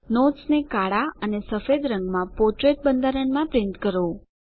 નોટ્સને કાળા અને સફેદ રંગમાં પોર્ટ્રેઇટ બંધારણમાં માં પ્રિન્ટ કરો